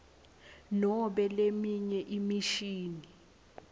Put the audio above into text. nobe leminye imishini